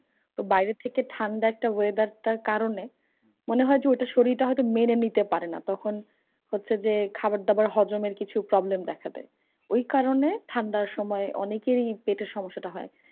তো বাইরে থেকে ঠান্ডা একটা weather টার কারণে মনে হয় যে, ঐ টা তখন শরীরটা হয়তো মেনে নিতে পারেনা। তখন হচ্ছে যে, খাবার দাবার হজমের কিছু problem দেখা যাই। ঐ কারণে ঠান্ডার সময় অনেকেরই পেটের সমস্যা টা হয়।